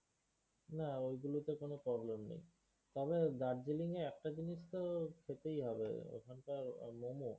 না, এগুলো তে কোনও problem নেই। তবে Darjeeling এ একটা জিনিস তো খেতেই হবে ওখানকার মোমো।